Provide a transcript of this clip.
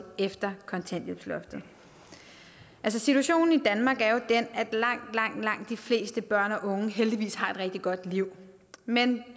efter kontanthjælpsloftet altså situationen i danmark er jo den at langt langt de fleste børn og unge heldigvis har et rigtig godt liv men